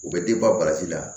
U bɛ la